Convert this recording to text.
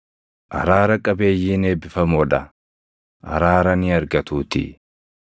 Araara qabeeyyiin eebbifamoo dha; araara ni argatuutii.